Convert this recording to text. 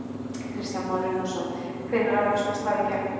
Kristján Már Unnarsson: Hvenær á svo að slá í gegn?